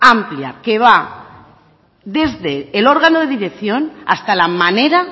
amplia que va desde el órgano de dirección hasta la manera